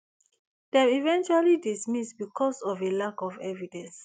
dem eventually dismiss because of a lack of evidence